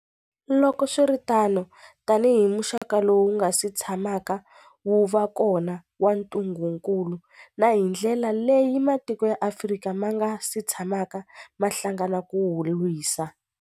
Loko swi ri tano, tanihi muxaka lowu wu nga si tsha maka wu va kona wa ntu ngukulu, na hi ndlela leyi matiko ya Afrika ma nga si tshamaka ma hlangana ku wu lwisa.